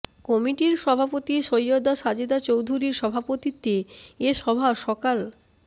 কমিটির সভাপতি সৈয়দা সাজেদা চৌধুরীর সভাপতিত্বে এ সভা সকাল